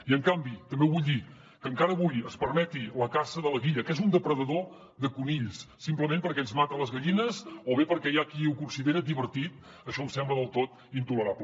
i en canvi també ho vull dir que encara avui es permeti la caça de la gui·lla que és un depredador de conills simplement perquè ens mata les gallines o bé perquè hi ha qui ho considera divertit això em sembla del tot intolerable